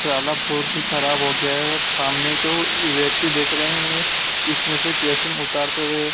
सारा पोती खराब हो गया है और सामने जो व्यक्ति देख रहे हैं ये--